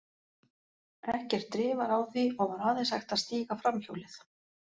Ekkert drif var á því, og var aðeins hægt að stíga framhjólið.